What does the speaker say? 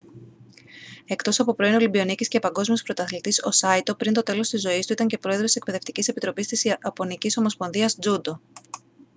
εκτός από πρώην ολυμπιονίκης και παγκόσμιος πρωταθλητής ο σάιτο πριν το τέλος της ζωής του ήταν και πρόεδρος της εκπαιδευτικής επιτροπής της ιαπωνικής ομοσπονδίας τζούντο